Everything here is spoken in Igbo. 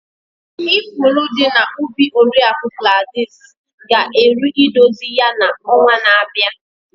Ifuru dị na ubi Oriakụ Gladys ga eru idozi ya na ọnwa na-abịa.